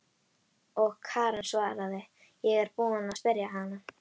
Og Karen svaraði: Ég er búin að spyrja hana.